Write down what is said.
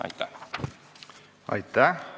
Aitäh!